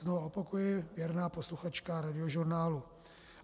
Znova opakuji, věrná posluchačka Radiožurnálu.